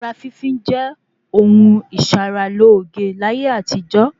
Ara fínfín jẹ́ ohun ìsara lóge láyé àtijọ́